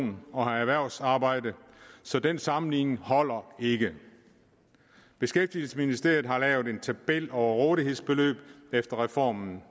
lån og har erhvervsarbejde så den sammenligning holder ikke beskæftigelsesministeriet har lavet en tabel over rådighedsbeløb efter reformen